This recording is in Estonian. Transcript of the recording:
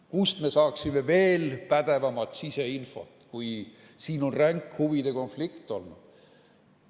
Kust me saaksime veel pädevamat siseinfot, kui siin on ränk huvide konflikt olnud?